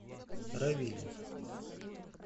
равиле